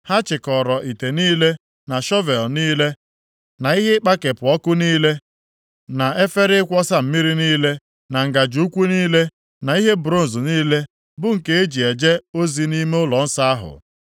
Ha chịkọọrọ ite niile, na shọvel niile na ihe ịkpakepụ ọkụ niile, na efere ịkwọsa mmiri niile, na ngaji ukwu niile, na ihe bronz niile, bụ nke e ji eje ozi nʼime ụlọnsọ ahụ.